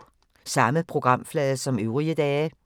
Samme programflade som øvrige dage